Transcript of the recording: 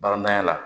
Barananya la